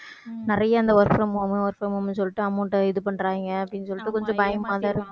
நிறையா இந்த work from home work from home ன்னு சொல்லிட்டு amount அ இது பண்றாங்க அப்படின்னு சொல்லிட்டு கொஞ்சம் பயமாதான் இருக்~